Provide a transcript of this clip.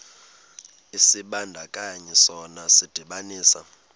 isibandakanyi sona sidibanisa